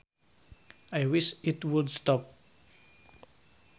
I wish it would stop